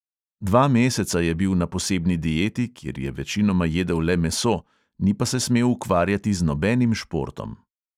Dva meseca je bil na posebni dieti, kjer je večinoma jedel le meso, ni pa se smel ukvarjati z nobenim športom.